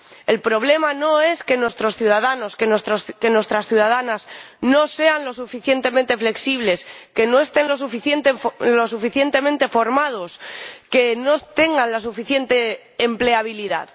El problema no es que nuestros ciudadanos y nuestras ciudadanas no sean lo suficientemente flexibles, que no tengan suficiente formación, que no tengan la suficiente empleabilidad.